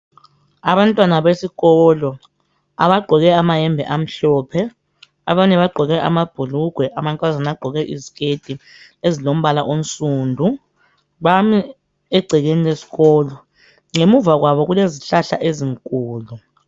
Abantwana besikolo abagqoke amayembe amhlophe .Abanye bagqoke amabhulugwe ,amankazana gqoke iziketi ezilombala onsundu bami egcekeni lesikolo .Ngemuva kwabo kulezihlahla ezinkulu .